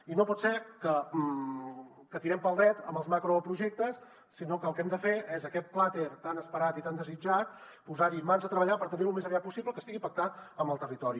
i no pot ser que tirem pel dret amb els macroprojectes sinó que el que hem de fer és a aquest pla tan esperat i tan desitjat posar hi mans a treballar per tenir lo al més aviat possible que estigui pactat amb el territori